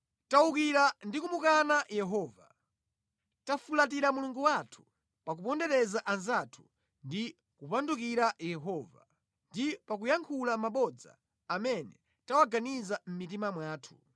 Tawukira ndi kumukana Yehova. Tafulatira Mulungu wathu, pa kupondereza anzathu ndi kupandukira Yehova, ndi pa kuyankhula mabodza amene tawaganiza mʼmitima mwathu.